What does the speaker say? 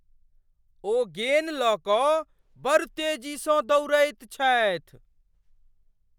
ओ गेन लऽ कऽ बड़ तेजीसँ दौड़ैत छथि!